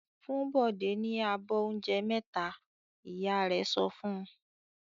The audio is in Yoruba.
"Fún Bọ̀dé ní abọ́ oúnjẹ mẹ́ta!" Ìyá rẹ̀ sọ fún un.